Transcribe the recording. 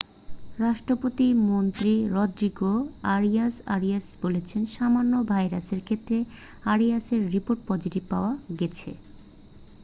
রাষ্ট্রপতির মন্ত্রী Rodrigo Arias Arias বলেছেন সামান্য ভাইরাসের ক্ষেত্রে আরিয়াসের রিপোর্ট পজিটিভ পাওয়া গেছে